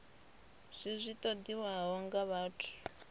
zwi zwi ṱoḓiwaho nga vhathu